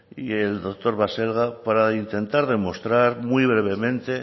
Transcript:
y el doctor baselga para intentar demostrar muy brevemente